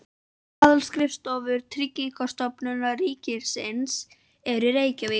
Aðalskrifstofur Tryggingastofnunar ríkisins eru í Reykjavík.